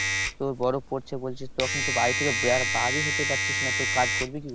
তো বরফ পড়ছে বলছিস তখন তো বাড়ি থেকে বারই হতে পারছিস না তো কাজ করবি কি করে?